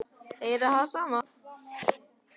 Heyra það sama.